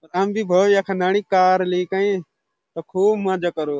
हम भी भोल यखन आणि कार लेकै अर खूब मजा करो।